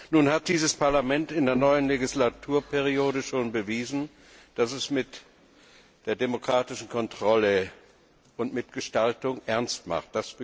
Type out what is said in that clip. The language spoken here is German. Nun hat dieses Parlament in der neuen Legislaturperiode schon bewiesen, dass es mit der demokratischen Kontrolle und Mitgestaltung ernst macht.